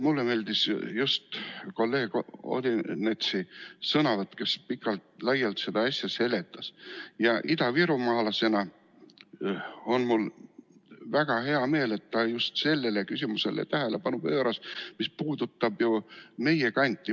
Mulle meeldis kolleeg Odinetsi sõnavõtt, kes pikalt-laialt seda asja seletas, ja idavirumaalasena on mul väga hea meel, et ta pööras tähelepanu just sellele küsimusele, mis puudutab meie kanti.